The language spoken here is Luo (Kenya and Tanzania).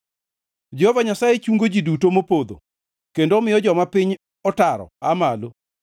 Jehova Nyasaye chungo ji duto mopodho kendo omiyo joma piny otaro aa malo.